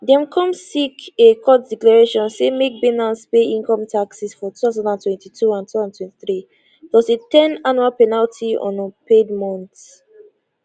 dem come seek a court declaration say make binance pay income taxes for 2022 and 2023 plus a ten annual penalty on unpaid amounts